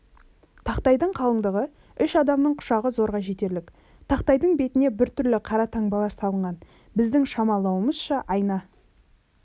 тақтайдың қалыңдығы үш адамның құшағы зорға жетерлік тақтайдың бетіне біртүрлі қара таңбалар салынған біздің шамалауымызша айна